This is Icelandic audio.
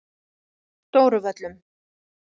Stóru Völlum